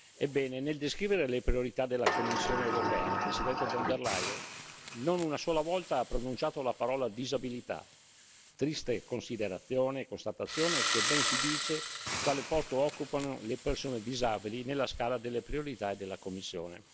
Ebbene, nel descrivere le priorità della Commissione europea, la Presidente von der Leyen non una sola volta ha pronunciato la parola disabilità, triste considerazione e constatazione che ben ci dice quale posto occupano le persone disabili nella scala delle priorità della Commissione.